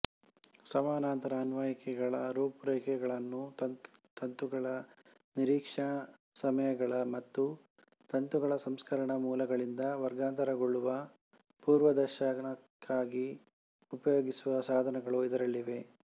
ಸಮಾನಾಂತರ ಅನ್ವಯಿಕೆಗಳ ರೂಪರೇಖೆಗಳನ್ನು ತಂತುಗಳ ನಿರೀಕ್ಷಾ ಸಮಯಗಳ ಮತ್ತು ತಂತುಗಳ ಸಂಸ್ಕರಣ ಮೂಲಗಳಿಂದ ವರ್ಗಾಂತರಗೊಳ್ಳುವ ಪೂರ್ವದರ್ಶನಕ್ಕಾಗಿ ಉಪಯೋಗಿಸುವ ಸಾಧನಗಳು ಇದರಲ್ಲಿವೆ